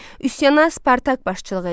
Üsyana Spartak başçılıq eləyirdi.